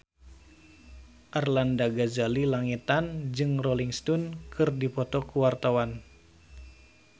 Arlanda Ghazali Langitan jeung Rolling Stone keur dipoto ku wartawan